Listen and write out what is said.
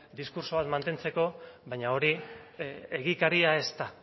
diskurtsoak mantentzeko baina hori egikaria ez da